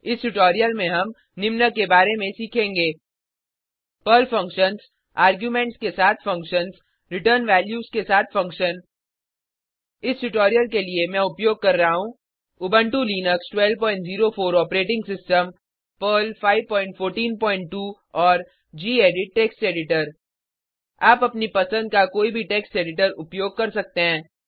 इस ट्यूटोरियल में हम निम्न के बारे में सीखेंगे पर्ल फंक्शन्स आर्गुमेंट्स के साथ फंक्शन्स रिटर्न वैल्यूज के साथ फंक्शन इस ट्यूटोरियल के लिए मैं उपयोग कर रहा हूँ Ubuntu Linux 1204 operating system Perl 5142 और गेडिट टेक्स्ट एडिटर आप अपनी पसंद का कोई भी टेक्स्ट एडिटर उपयोग कर सकते हैं